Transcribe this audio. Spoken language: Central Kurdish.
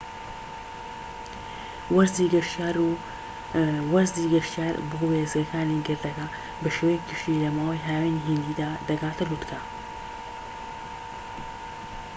وەرزی گەشتیار بۆ وێستگەکانی گردەکە بە شێوەیەکی گشتی لە ماوەی هاوینی هیندیدا دەگاتە لووتکە